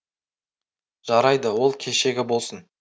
жарайды ол кешегі болсын